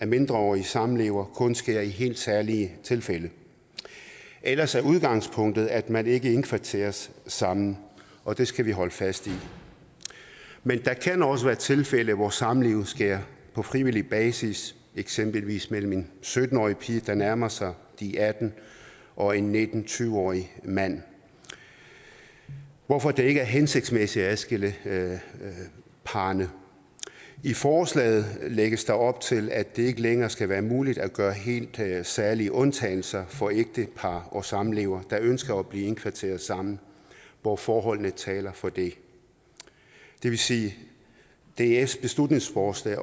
mindreårig samlever kun sker i helt særlige tilfælde ellers er udgangspunktet at man ikke indkvarteres sammen og det skal vi holde fast i men der kan også være tilfælde hvor samlivet sker på frivillig basis eksempelvis mellem en sytten årig pige der nærmer sig de atten år og en nitten til tyve årig mand hvorfor det ikke er hensigtsmæssigt at adskille parrene i forslaget lægges der op til at det ikke længere skal være muligt at gøre helt særlige undtagelser for ægtepar og samlevere der ønsker at blive indkvarteret sammen hvor forholdene taler for det det vil sige at dfs beslutningsforslag